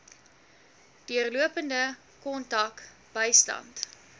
deurlopende kontak bystand